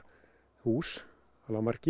hús